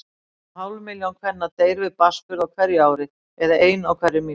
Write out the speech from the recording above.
Um hálf milljón kvenna deyr við barnsburð á hverju ári, eða ein á hverri mínútu.